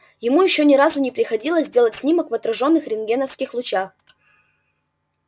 ему ещё ни разу не приходилось делать снимок в отражённых рентгеновских лучах